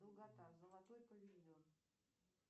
долгота золотой павильон